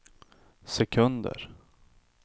sekunder